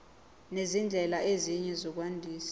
nezindlela ezinye zokwandisa